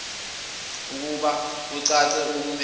ekubeka kucace okumele